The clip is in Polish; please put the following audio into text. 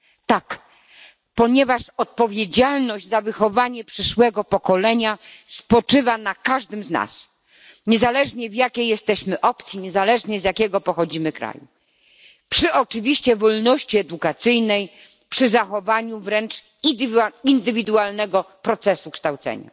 Tak, ponieważ odpowiedzialność za wychowanie przyszłego pokolenia spoczywa na każdym z nas niezależnie, z jakiej jesteśmy opcji, niezależnie z jakiego pochodzimy kraju, przy oczywiście wolności edukacyjnej, przy zachowaniu wręcz indywidualnego procesu kształcenia.